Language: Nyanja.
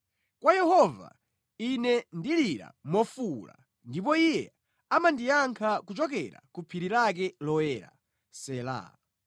Kwa Yehova, Ine ndilira mofuwula ndipo Iye amandiyankha kuchokera ku phiri lake loyera. Sela